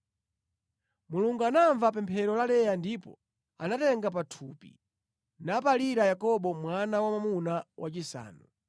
Mulungu anamva pemphero la Leya ndipo anatenga pathupi nabalira Yakobo mwana wa mwamuna wachisanu.